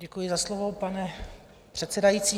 Děkuji za slovo, pane předsedající.